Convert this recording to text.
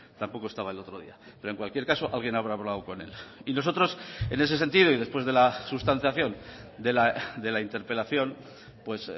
tampoco estaba el otro día pero en cualquier caso alguien habrá hablado con él y nosotros en ese sentido y después de la sustanciación de la interpelación pues